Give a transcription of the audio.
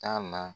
Taa na